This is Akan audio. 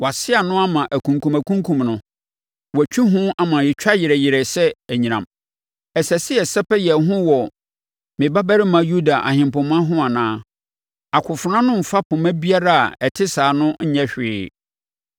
wɔase ano ama akumkumakumkum no, wɔatwi ho ama ɛtwa yerɛ yerɛ sɛ anyinam! “ ‘Ɛsɛ sɛ yɛsɛpɛ yɛn ho wɔ me babarima Yuda ahempoma ho anaa? Akofena no mfa poma biara a ɛte saa no nyɛ hwee.